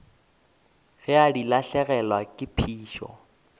ge di lahlegelwa ke phišo